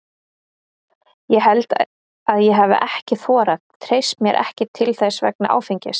Ég held að ég hafi ekki þorað, treysti mér ekki til þess vegna áfengis.